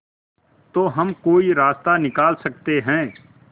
तो हम कोई रास्ता निकाल सकते है